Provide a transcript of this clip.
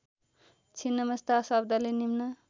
छिन्नमस्ता शब्दले निम्न